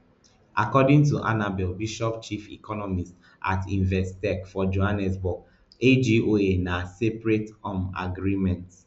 according to annabel bishop chief economist at investec for johannesburg agoa na separate um agreement